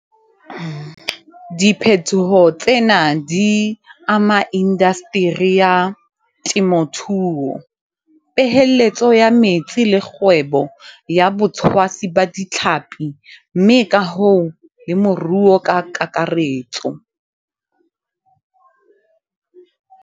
Diphetoho tsena di ama indaseteri ya temothuo, peeheletso ya metsi le kgwebo ya botshwasi ba ditlhapi mme ka hoo le moruo ka kakaretso.